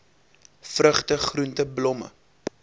vrugte groente blomme